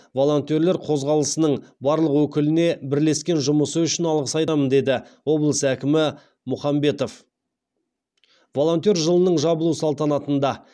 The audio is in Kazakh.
волонтерлер қозғалысының барлық өкіліне бірлескен жұмысы үшін алғыс айтамын деді облыс әкімі мұхамбетов волонтер жылының жабылу салтанатында